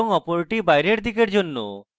এবং অপরটি বাইরের দিকের জন্য